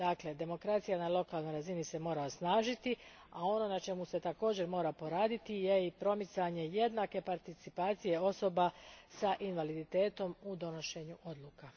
Dakle, demokracija na lokalnoj razini mora se osnažiti, a ono na čemu se također mora poraditi je i promicanje jednake participacije osoba s invaliditetom u donošenju odluka.